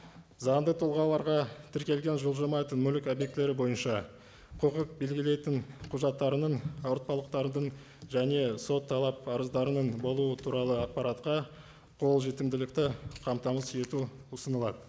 заңды тұлғаларға тіркелген жылжымайтын мүлік объектілері бойынша құқық белгілейтін құжаттарының ауыртпалықтардың және сот талап парыздарының болуы туралы ақпаратқа қолжетімділікті қамтамасыз ету ұсынылады